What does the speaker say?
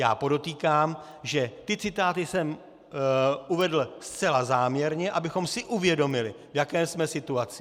Já podotýkám, že ty citáty jsem uvedl zcela záměrně, abychom si uvědomili, v jaké jsme situaci.